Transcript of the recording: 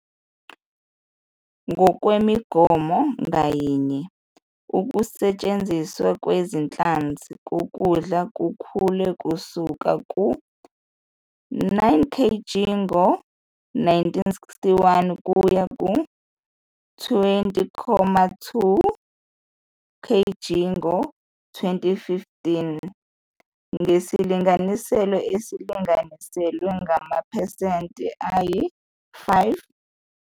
Ngokwemigomo ngayinye, ukusetshenziswa kwezinhlanzi kokudla kukhule kusuka ku-9.0 kg ngo-1961 kuya ku-20.2 kg ngo-2015, ngesilinganiso esilinganiselwa kumaphesenti ayi-1.5 ngonyaka.